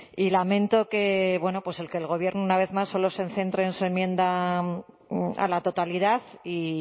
y lamento que el gobierno una vez más solo se centre en su enmienda a la totalidad y